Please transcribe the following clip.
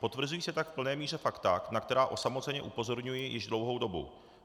Potvrzují se tak v plné míře fakta, na která osamoceně upozorňuji již dlouhou dobu.